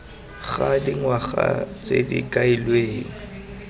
ga dingwaga tse di kailweng